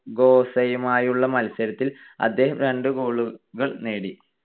ഗോസയുമായുള്ള മത്സരത്തിൽ അദ്ദേഹം രണ്ട് goal കൾ നേടി.